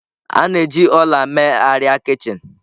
A na-eji ọla mee arịa kichin.